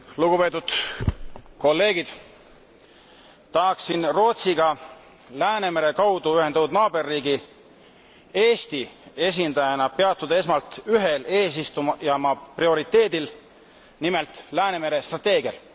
Lugupeetud kolleegid, tahaksin Rootsiga Läänemere kaudu ühendatud naaberriigi Eesti esindajana peatuda esmalt ühel eesistujamaa prioriteedil, nimelt Läänemere strateegial.